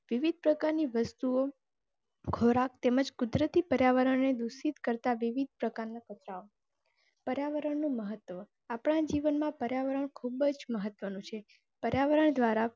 વિવિધ પ્રકારની વસ્તુઓ. ખોરાક તેમજ કુદરતી પર્યાવરણને દુષિત કરતાં વિવિધ પ્રકારના બતાવો. પર્યાવરણનું મહત્ત્વ. આપણા જીવન માં પર્યાવરણ ખુબ જ મહત્ત્વનું છે પર્યાવરણ દ્વારા.